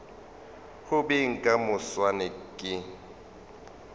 go beng ka moswane ke